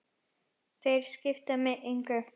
Þeir skipta mig engu.